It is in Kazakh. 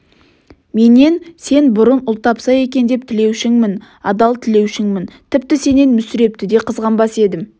менен сен бұрын ұл тапса екен деп тілеушіңмін адал тілеушіңмін тіпті сенен мүсірепті де қызғанбас едім